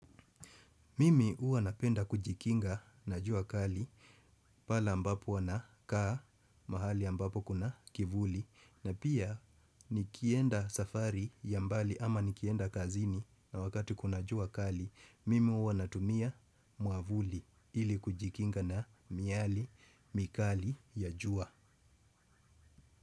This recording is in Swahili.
Mimi huwa napenda kujikinga na jua kali pale ambapo huwa nakaa mahali ambapo kuna kivuli na pia nikienda safari ya mbali ama nikienda kazini na wakati kuna jua kali mimi huwa natumia mwavuli ili kujikinga na miale mikali ya jua.